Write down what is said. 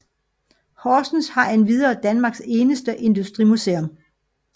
Horsens har endvidere Danmarks eneste industrimuseum